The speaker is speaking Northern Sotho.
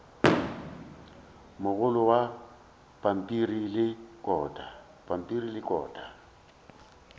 mogolo wa pampiri le kota